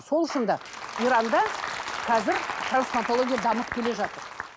сол үшін де иранда қазір трансплантология дамып келе жатыр